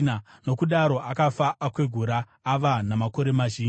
Nokudaro akafa, akwegura ava namakore mazhinji.